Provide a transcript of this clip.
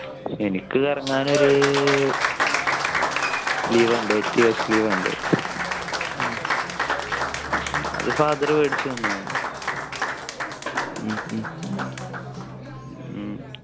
എനിക്ക് കറങ്ങാൻ ഒരു Liva ഉണ്ട് etios liva അത് father മേടിച്ചു തന്നതാണ്.